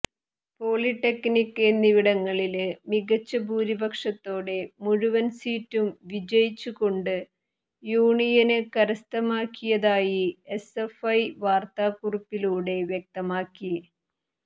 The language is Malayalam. പോളിടെക്നിക് എന്നിവിടങ്ങളില് മികച്ച ഭൂരിപക്ഷത്തോടെ മുഴുവന് സീറ്റും വിജയിച്ചുകൊണ്ട് യൂണിയന് കരസ്ഥമാക്കിയതായി എസ് എഫ് ഐ വാര്ത്താക്കുറിപ്പിലൂടെ വ്യക്തമാക്കി